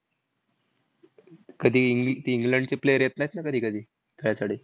कधी ई ते इंग्लंडचे player येत नाहीत ना कधीकधी, त्यासाठी.